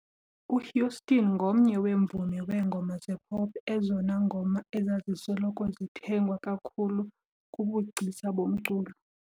UHouston ngomnye weemvumi weengoma zepop ezona ngoma ezazisoloko zithengwa kakhulu kubugcisa bomculo